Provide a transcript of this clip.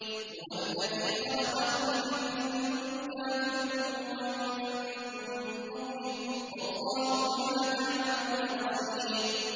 هُوَ الَّذِي خَلَقَكُمْ فَمِنكُمْ كَافِرٌ وَمِنكُم مُّؤْمِنٌ ۚ وَاللَّهُ بِمَا تَعْمَلُونَ بَصِيرٌ